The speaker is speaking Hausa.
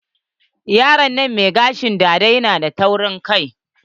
Yaron nan mai gashin dada na da taurin kai.